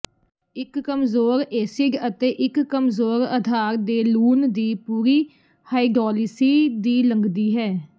ਇੱਕ ਕਮਜ਼ੋਰ ਏਸਿਡ ਅਤੇ ਇੱਕ ਕਮਜ਼ੋਰ ਅਧਾਰ ਦੇ ਲੂਣ ਦੀ ਪੂਰੀ ਹਾਈਡੋਲਿਸੀ ਦੀ ਲੰਘਦੀ ਹੈ